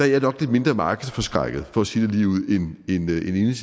jeg nok lidt mindre markedsforskrækket for at sige det lige